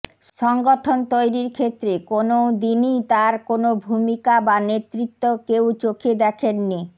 সংগঠন তৈরির ক্ষেত্রে কোনও দিনই তার কোন ভূমিকা বা নেতৃত্ব কেউ চোখে দেখেননি